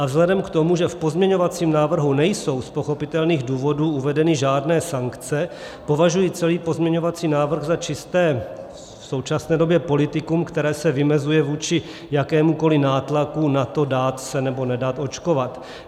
A vzhledem k tomu, že v pozměňovacím návrhu nejsou z pochopitelných důvodů uvedeny žádné sankce, považuji celý pozměňovací návrh za čisté, v současné době, politikum, které se vymezuje vůči jakémukoliv nátlaku na to dát se nebo nedat očkovat.